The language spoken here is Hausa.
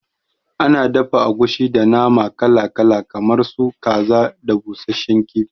Ana dafa agushi da nama kala kala kamar su kaza da busasshen kifi